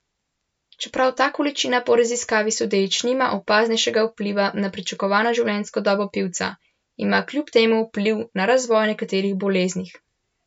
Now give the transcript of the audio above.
Čeprav ta količina po raziskavi sodeč nima opaznejšega vpliva na pričakovano življenjsko dobo pivca, ima kljub temu vpliv na razvoj nekaterih boleznih.